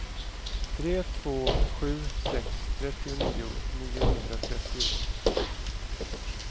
tre två sju sex trettionio niohundratrettio